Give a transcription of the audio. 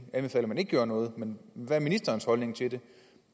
at man ikke gjorde noget men hvad er ministerens holdning til det